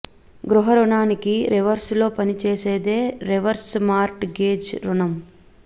గృహ రుణానికి రివర్స్ లో పనిచేసేదే రివర్స్ మార్ట్ గేజ్ రుణం